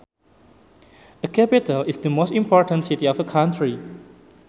A capital is the most important city of a country